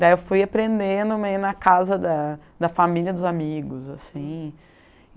Daí eu fui aprendendo meio na casa da da família dos amigos, assim.